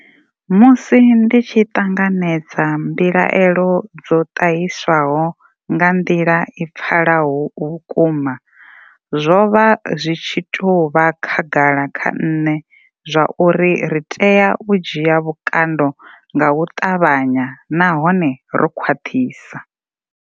Musi ndi tshi ṱanganedza mbilaelo dzo ṱahiswaho nga nḓila i pfalaho vhukuma, zwo vha zwi tshi tou vha khagala kha nṋe zwauri ri tea u dzhia vhukando nga u ṱavhanya nahone ro khwaṱhisa.